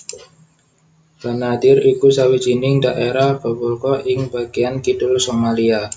Banaadir iku sawijining dhaerah gobolka ing bagéan kidul Somalia